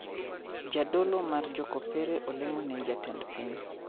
Jadolo mar jokopere olemo ne jatend piny